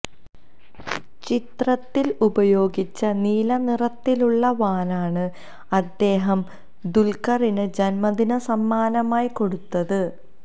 ചിത്രത്തില് ഉപയോഗിച്ച നീല നിറത്തിലുള്ള വാനാണ് അദ്ദേഹം ദുല്ഖറിന് ജന്മദിന സമ്മാനമായി കൊടുത്തത്